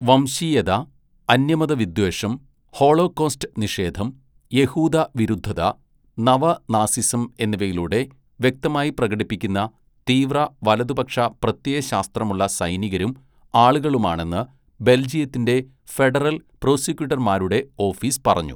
"വംശീയത, അന്യമതവിദ്വേഷം, ഹോളോകോസ്റ്റ് നിഷേധം, യഹൂദ വിരുദ്ധത, നവ നാസിസം എന്നിവയിലൂടെ വ്യക്തമായി പ്രകടിപ്പിക്കുന്ന തീവ്ര വലതുപക്ഷ പ്രത്യയശാസ്ത്രമുള്ള സൈനികരും ആളുകളുമാണെന്ന് ബെല്‍ജിയത്തിന്റെ ഫെഡറല്‍ പ്രോസിക്യൂട്ടര്‍മാരുടെ ഓഫീസ് പറഞ്ഞു. "